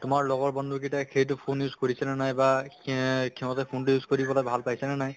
তোমাৰ লগৰ বন্ধু কিটাই সেইটো phone use কৰিছে নে নাই বা এ সিহঁতে phone টো use কৰি পালে ভাল পাইছে নে নাই